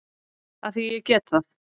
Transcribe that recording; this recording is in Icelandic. Af því að ég get það.